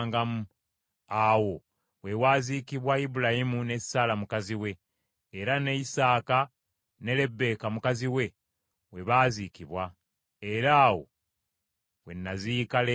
Awo we waaziikibwa Ibulayimu ne Saala mukazi we, era ne Isaaka ne Lebbeeka mukazi we, we baaziikwa, era awo we naziika Leeya.